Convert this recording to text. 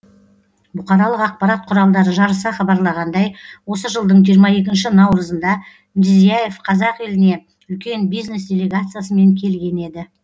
бұқаралық ақпарат құралдары жарыса хабарлағандай осы жылдың жиырма екінші наурызында мирзияев қазақ еліне үлкен бизнес делегациясымен келген еді